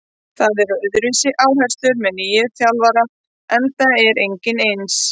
Það eru öðruvísi áherslur með nýjum þjálfara enda er enginn eins.